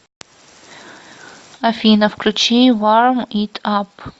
афина включи варм ит ап